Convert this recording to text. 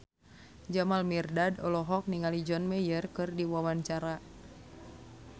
Jamal Mirdad olohok ningali John Mayer keur diwawancara